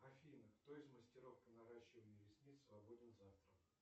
афина кто из мастеров по наращиванию ресниц свободен завтра